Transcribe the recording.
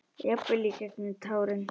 Jafnvel í gegnum tárin.